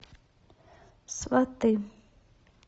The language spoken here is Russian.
сваты